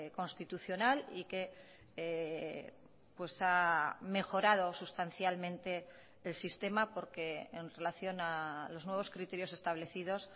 constitucional y que ha mejorado sustancialmente el sistema porque en relación a los nuevos criterios establecidos